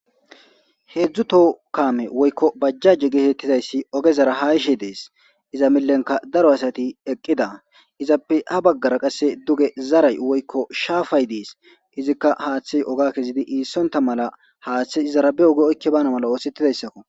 Hedzu toho kaame woyko bajjaje geetetizayssi ogezara haa yishe dees iza milenka daro asati eqqida izappe ha bagara duge zaray woykko shaafay dees izika haathey oga kezidi iisonta mala haathey izara be oge oyki baana mala othetizayssakko.